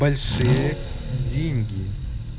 большие деньги